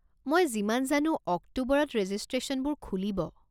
মই যিমান জানো অক্টোবৰত ৰেজিষ্ট্ৰেশ্যনবোৰ খুলিব।